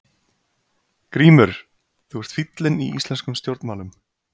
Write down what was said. GRÍMUR: Þú ert fíllinn í íslenskum stjórnmálum!